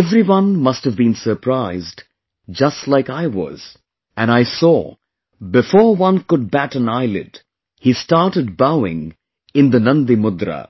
everyone must have been surprised just like I was...and I saw, before one could bat an eyelid, he started bowing in the Nandi Mudra